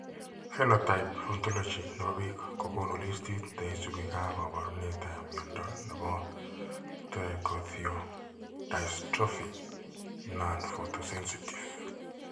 Phenotype Ontology ne po biik ko konu listiit ne isubiap kaabarunetap mnyando ne po Trichothiodystrophy nonphotosensitive.